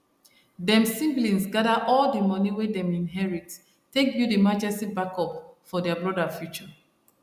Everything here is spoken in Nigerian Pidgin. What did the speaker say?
dem siblings gather all the money wey dem inherit take build emergency backup for their broda future